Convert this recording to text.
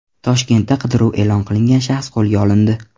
Toshkentda qidiruv e’lon qilingan shaxs qo‘lga olindi.